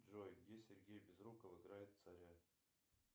джой где сергей безруков играет царя